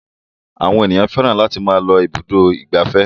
Àwọn ènìyàn fẹ́ràn láti máa lọ ibùdó ìgbafẹ́.